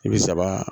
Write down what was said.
I bi saba